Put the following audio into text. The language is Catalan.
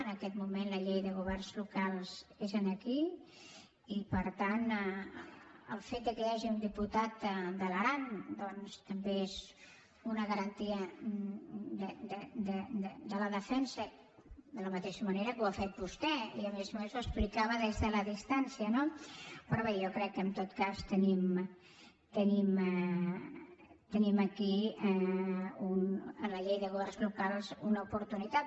en aquest moment la llei de governs locals és aquí i per tant el fet que hi hagi un diputat de l’aran doncs també és una garantia de la defensa de la mateixa manera que ho ha fet vostè i a més a més ho explicava des de la distància no però bé jo crec que en tot cas tenim aquí en la llei de governs locals una oportunitat